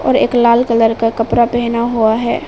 और एक लाल कलर का कपड़ा पहना हुआ है।